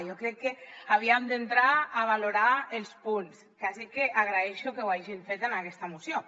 jo crec que havíem d’entrar a valorar els punts quasi que agraeixo que ho hagin fet en aquesta moció